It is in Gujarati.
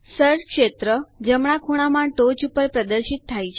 સર્ચ ક્ષેત્ર જમણા ખૂણામાં ટોચ ઉપર પ્રદર્શિત થાય છે